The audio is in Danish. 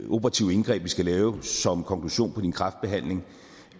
operative indgreb vi skal lave som konklusion på din kræftbehandling